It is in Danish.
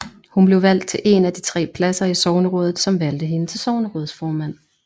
Hun blev valgt til en af de tre pladser i sognerådet som valgte hende til sognerådsformand